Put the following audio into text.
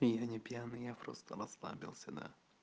не пьяный я просто остановился на